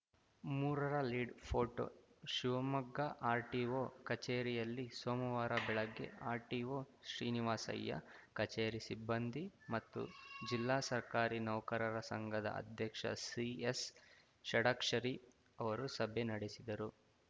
ಮೂರರ ಲೀಡ್‌ಗೆ ಫೋಟೊ ಶಿವಮೊಗ್ಗದ ಆರ್‌ಟಿಒ ಕಚೇರಿಯಲ್ಲಿ ಸೋಮವಾರ ಬೆಳಗ್ಗೆ ಆರ್‌ಟಿಒ ಶ್ರೀನಿವಾಸಯ್ಯ ಕಚೇರಿ ಸಿಬ್ಬಂದಿ ಮತ್ತು ಜಿಲ್ಲಾ ಸರ್ಕಾರಿ ನೌಕರರ ಸಂಘದ ಅಧ್ಯಕ್ಷ ಸಿಎಸ್‌ ಷಡಾಕ್ಷರಿ ಅವರು ಸಭೆ ನಡೆಸಿದರು